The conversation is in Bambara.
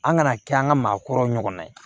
An kana kɛ an ka maakɔrɔw ɲɔgɔnna ye